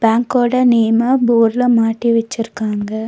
பாங்கோட name போர்டுல மாட்டி வெச்சிருக்காங்க.